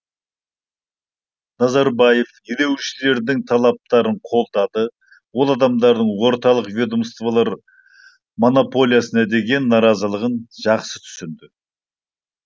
назарбаев ереуілшілердің талаптарын қолдады ол адамдардың орталық ведомстволар монополиясына деген наразылығын жақсы түсінді